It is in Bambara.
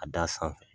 A d'a sanfɛ